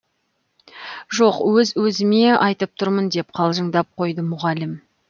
жоқ өз өзіме айтып тұрмын деп қалжыңдап қойды мұғалім